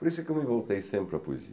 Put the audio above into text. Por isso que eu me voltei sempre à poesia.